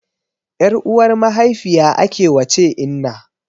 Ƴar uwar mahaifiya ake wace inna